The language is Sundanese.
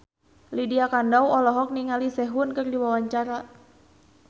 Lydia Kandou olohok ningali Sehun keur diwawancara